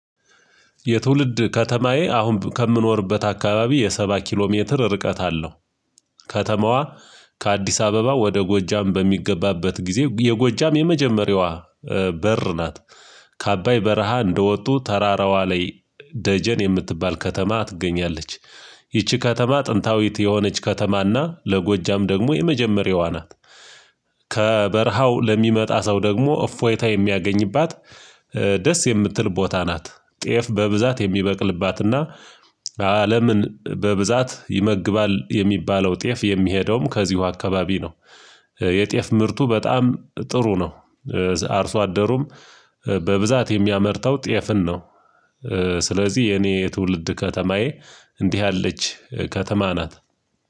የትውልድ ከተማዬ አሁን ከምኖርበት አካባቢ የሰባ ኪሎ ሜትር ርቀት አለው። ከተማዋ ከአዲስ አበባ ወደ ጎጃም በሚገባበት ጊዜ የጎጃም የመጀመሪያዋ በር ናት ከአባይ በረሃ እንደወጡ ተራራዋ ላይ ደጀን የምትባል ከተማ ትገኛለች። ይቺ ከተማ ጥንታዊት የሆነች ከተማና ለጎጃም ደግሞ የመጀመሪያዋ ናት። ከበረሃው ለሚመጣ ሰው ደግሞ እፎይታ የሚያገኝባት ደስ የምትል ቦታ ናት። ጤፍ በብዛት የሚበቅልባትና አለምን በብዛት ይመግባል የሚባለው ጤፍ የሚሄደውም ከዚሁ አካባቢ ነው። የጤፍ ምርቱ በጣም ጥሩ ነው። አርሶ አደሩም በብዛት የሚያመርተው ጤፍን ነው። ስለዚህ የኔ የትውልድ ከተማዬ እንዲህ ያለች ከተማ ናት